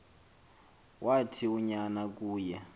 wathi unyana kuye